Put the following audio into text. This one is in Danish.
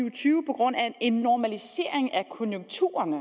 og tyve på grund af en normalisering af konjunkturerne